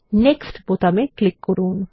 next বোতামে click করুন